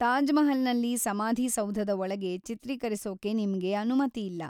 ತಾಜ್ ಮಹಲ್‌ನಲ್ಲಿ ಸಮಾಧಿ ಸೌಧದ ಒಳಗೆ ಚಿತ್ರೀಕರಿಸೋಕೆ ನಿಮ್ಗೆ ಅನುಮತಿ ಇಲ್ಲ.